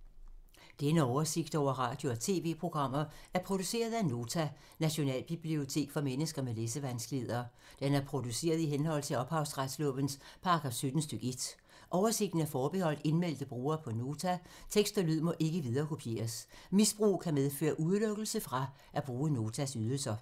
Denne oversigt over radio og TV-programmer er produceret af Nota, Nationalbibliotek for mennesker med læsevanskeligheder. Den er produceret i henhold til ophavsretslovens paragraf 17 stk. 1. Oversigten er forbeholdt indmeldte brugere på Nota. Tekst og lyd må ikke viderekopieres. Misbrug kan medføre udelukkelse fra at bruge Notas ydelser.